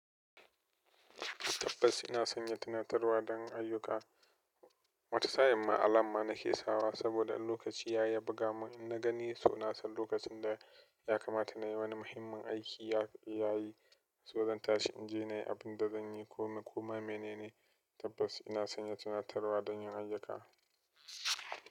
Tabbas ina sanya tunatarwa don ayyuka. Wata sa'in ma alarm ma nake sawa saboda in lokaci yayi ya buga mun in na gani so nasan lokacin da ya kamata na yi wani muhimmin aiki ya yi. So zan tashi in je na yi abin da zanyi ko ma menene. Tabbas ina sanya tunatarwa don yin ayyuka.